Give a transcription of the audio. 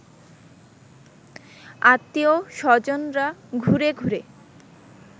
আত্মীয় স্বজনরা ঘুরে ঘুরে